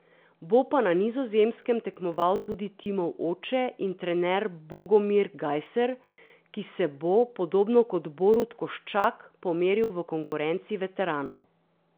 Bo pa na Nizozemskem tekmoval tudi Timov oče in trener Bogomir Gajser, ki se bo, podobno kot Borut Koščak, pomeril v konkurenci veteranov.